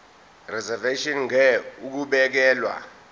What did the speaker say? reservation ngur ukubekelwa